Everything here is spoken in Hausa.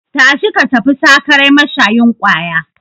Tashi ka tafi sakarai mashayin kwaya!